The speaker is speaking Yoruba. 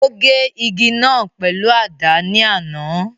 O gé igi náà pèlú àdá ni àná.